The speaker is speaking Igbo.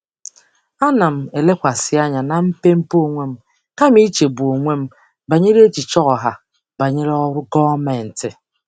Ana m elekwasị anya na mmepe onwe m kama ichegbu onwe m banyere echiche ọha banyere ọrụ gọọmentị.